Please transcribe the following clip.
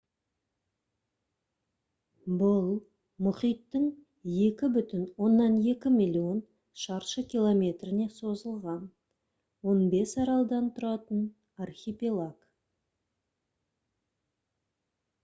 бұл мұхиттың 2,2 миллион шаршы километріне созылған 15 аралдан тұратын архипелаг